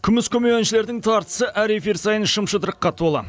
күміс көмей әншілердің тартысы әр эфир сайын шым шытырыққа толы